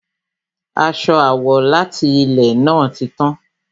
Aṣọ àwọ̀ láti ilè náà ti tán